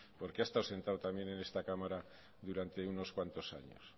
porque ha estado sentado también en esta cámara durante unos cuantos años